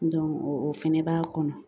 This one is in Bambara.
o fɛnɛ b'a kɔnɔ